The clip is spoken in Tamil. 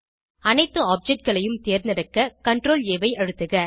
அனைத்து objectகளையும் தேர்ந்தெடுக்க CTRLA ஐ அழுத்துக